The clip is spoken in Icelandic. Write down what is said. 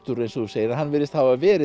eins og þú segir hann virðist hafa verið